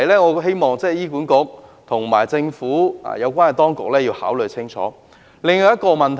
我希望醫管局和政府有關當局考慮清楚這個問題。